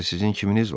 Axı sizin kiminiz var?